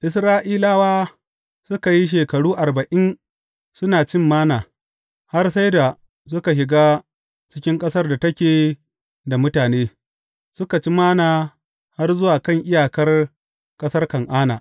Isra’ilawa suka yi shekaru arba’in suna cin Manna, har sai da suka shiga cikin ƙasar da take da mutane, suka ci Manna har zuwa kan iyakar ƙasar Kan’ana.